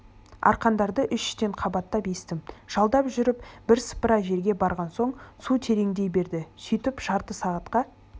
арқандарды үш-үштен қабаттап естім жалдап жүріп бірсыпыра жерге барған соң су тереңдей берді сөйтіп жарты сағатқа